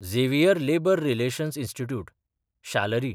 Xavier labour relations institute (शालरी)